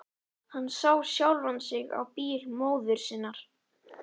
Hann sá sjálfan sig á bíl móður sinnar.